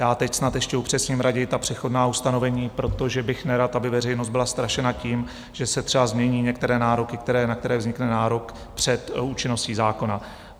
Já teď snad ještě upřesním raději ta přechodná ustanovení, protože bych nerad, aby veřejnost byla strašena tím, že se třeba změní některé nároky, na které vznikne nárok před účinností zákona.